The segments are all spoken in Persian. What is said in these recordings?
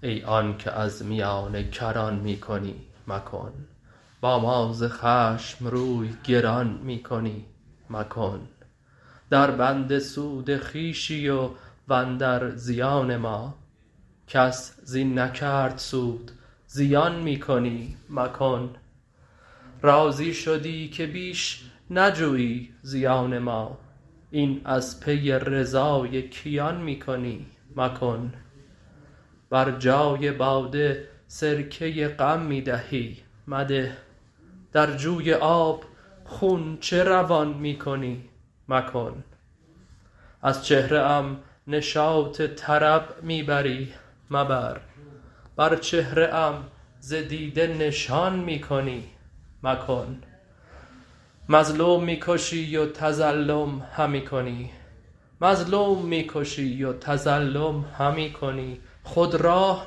ای آنک از میانه کران می کنی مکن با ما ز خشم روی گران می کنی مکن دربند سود خویشی و اندر زیان ما کس زین نکرد سود زیان می کنی مکن راضی شدی که بیش نجویی زیان ما این از پی رضای کیان می کنی مکن بر جای باده سرکه غم می دهی مده در جوی آب خون چه روان می کنی مکن از چهره ام نشاط طرب می بری مبر بر چهره ام ز دیده نشان می کنی مکن مظلوم می کشی و تظلم همی کنی خود راه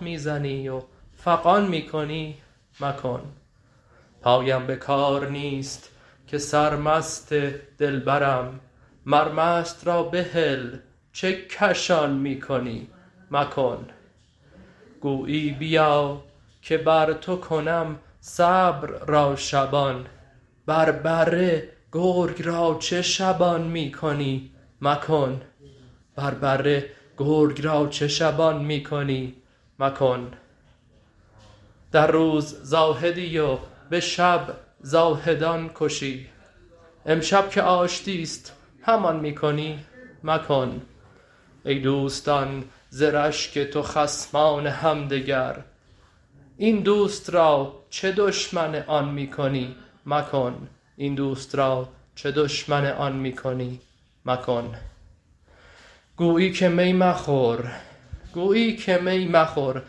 می زنی و فغان می کنی مکن پایم به کار نیست که سرمست دلبرم مر مست را بهل چه کشان می کنی مکن گویی بیا که بر تو کنم صبر را شبان بر بره گرگ را چه شبان می کنی مکن در روز زاهدی و به شب زاهدان کشی امشب که آشتی است همان می کنی مکن ای دوستان ز رشک تو خصمان همدگر این دوست را چه دشمن آن می کنی مکن گویی که می مخور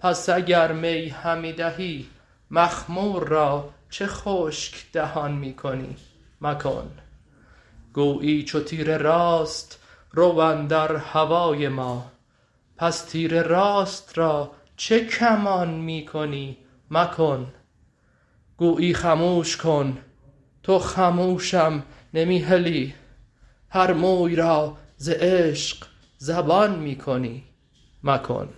پس اگر می همی دهی مخمور را چه خشک دهان می کنی مکن گویی چو تیر راست رو اندر هوای ما پس تیر راست را چه کمان می کنی مکن گویی خموش کن تو خموشم نمی هلی هر موی را ز عشق زبان می کنی مکن